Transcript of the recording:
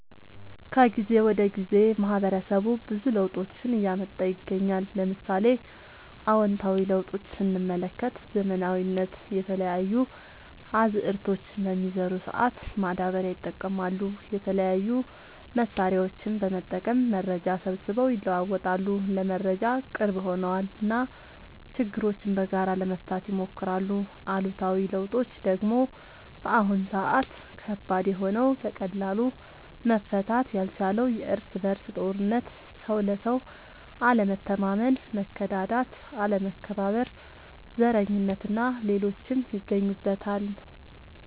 ከጊዜ ወደ ጊዜ ማህበረሰቡ ብዙ ለውጦችን እያመጣ ይገኛል። ለምሳሌ፦ አዎንታዊ ለውጦች ስንመለከት ዘመናዊነት፣ የተለያዩ አዝዕርቶችን በሚዘሩ ሰአት ማዳበሪያ ይጠቀማሉ፣ የተለያዩ መሳሪያዎችን በመጠቀም መረጃ ሰብስበው ይለዋወጣሉ (ለመረጃ ቅርብ ሆነዋል ) እና ችግሮችን በጋራ ለመፍታት ይሞክራሉ። አሉታዊ ለውጦች ደግሞ በአሁን ሰአት ከባድ የሆነው በቀላሉ መፈታት ያልቻለው የርስ በርስ ጦርነት፣ ሰው ለሰው አለመተማመን፣ መከዳዳት፣ አለመከባበር፣ ዘረኝነት እና ሌሎችም ይገኙበታል።